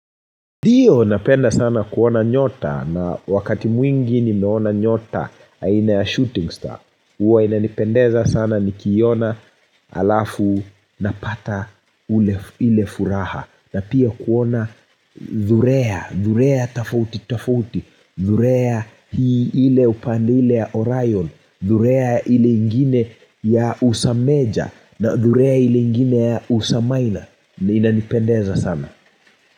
Ndio napenda sana kuona nyota na wakati mwingi nimeona nyota aina ya shooting star. Huwa inanipendeza sana nikiiona alafu napata ile furaha. Na pia kuona dhurea, dhurea tofauti tofauti, dhurea hii ile upande ile ya Orion, dhurea ile ingine ya usameja na dhurea ile ingine ya usamaina. Inanipendeza sana.